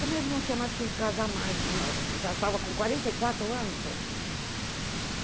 Também ele não tinha mais que casar mais, já estava com quarenta e quatro anos ainda.